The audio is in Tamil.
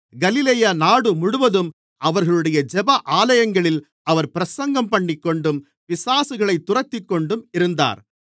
கலிலேயா நாடு முழுவதும் அவர்களுடைய ஜெப ஆலயங்களில் அவர் பிரசங்கம்பண்ணிக்கொண்டும் பிசாசுகளைத் துரத்திக்கொண்டும் இருந்தார்